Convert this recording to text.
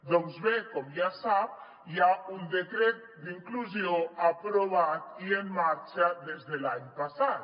doncs bé com ja sap hi ha un decret d’inclusió aprovat i en marxa des de l’any passat